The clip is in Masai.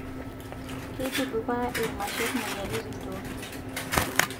Keitudupaa irmasher moyiaritin toonkishu.